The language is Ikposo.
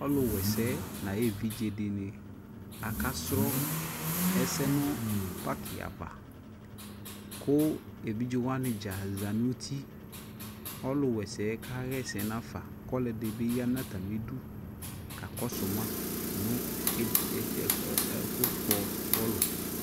Ɔluwɛsɛ na aye evidze de ne aka srɔ ɛsɛ no paki ava ko evidze wane dza za no utiƆlu wɛse ka hɛsɛ nafa ko ɔlɛde be ya na atame du ka kɔso ma no ed ed, ɛ ɛ ,ɛfo kpɔ bɔlu